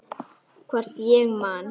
Hvort ég man.